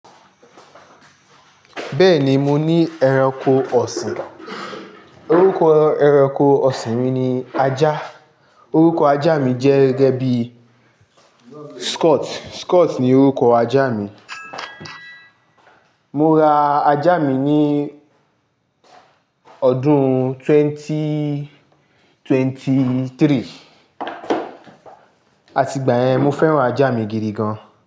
Bẹ́ẹ̀ni, mo ní ẹranko ọ̀sìn. Orúkọ ẹranko ọ̀sìn mi ni ajá. Orúkọ ajá mi jẹ́ gẹ́gẹ́ bí Scott. Scott ni orúkọ ajá mi. Mo ra ajá mi ní ọdún twenty twenty-three, àti ìgbà yẹn mo fẹ́ràn ajá mi gidi gan.